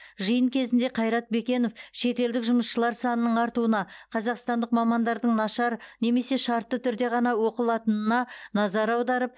жиын кезінде қайрат бекенов шетелдік жұмысшылар санының артуына қазақстандық мамандардың нашар немесе шартты түрде ғана оқылатынына назар аударып